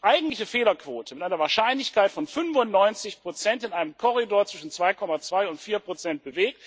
eigentliche Fehlerquote mit einer Wahrscheinlichkeit von 95 in einem Korridor zwischen 2,2 und 4 bewegt.